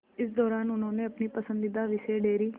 इस दौरान उन्होंने अपने पसंदीदा विषय डेयरी